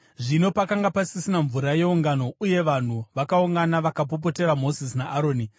Zvino pakanga pasisina mvura yeungano, uye vanhu vakaungana vakapopotera Mozisi naAroni.